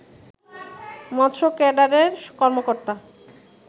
মৎস্য ক্যাডারের কর্মকর্তা